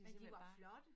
Men de var flotte